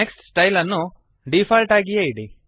next style ಅನ್ನು default ಆಗಿಯೇ ಇಡಿ